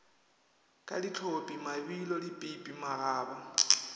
ka dihlophi mabilo dipipi magaba